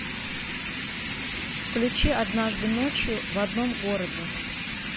включи однажды ночью в одном городе